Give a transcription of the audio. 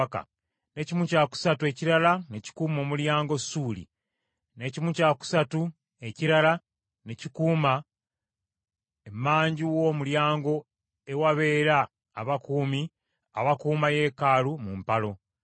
n’ekimu kya kusatu ekirala ne kikuuma Omulyango Suuli, n’ekimu kya kusatu ekirala ne kikuuma emanju w’omulyango ewabeera abakuumi abakuuma yeekaalu mu mpalo;